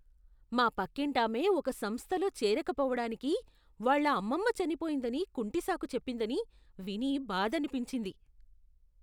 మా పక్కింటామె ఒక సంస్థలో చేరకపోవటానికి వాళ్ళ అమ్మమ్మ చనిపోయిందని కుంటి సాకు చెప్పిందని విని బాధనిపించింది.